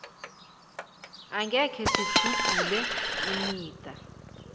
akhe sinidzubhulele imida